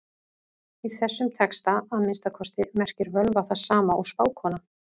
Í þessum texta, að minnsta kosti, merkir völva það sama og spákona.